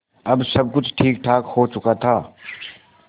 अब सब कुछ ठीकठाक हो चुका था